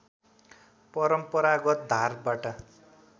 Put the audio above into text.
परम्परागत धारबाट